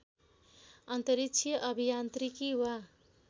अन्तरिक्षीय अभियान्त्रिकी वा